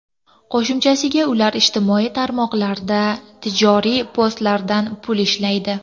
Qo‘shimchasiga, ular ijtimoiy tarmoqlardagi tijoriy postlardan pul ishlaydi.